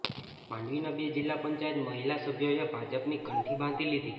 માંડવીના બે જિલ્લા પંચાયત મહિલા સભ્યોએ ભાજપની કંઠી બાંધી લીધી